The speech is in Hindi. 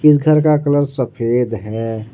इस घर का कलर सफेद है।